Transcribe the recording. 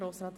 der SiK.